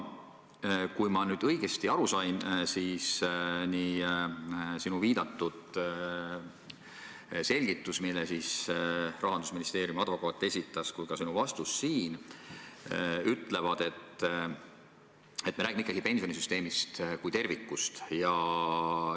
Kui ma nüüd õigesti aru sain, siis nii sinu viidatud selgitus, mille esitas Rahandusministeeriumi advokaat, kui ka sinu siin antud vastus ütlevad, et me räägime ikkagi pensionisüsteemist kui tervikust.